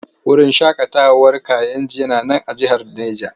Wurin shaƙatawar Kayenji yana nan a jihar Neja.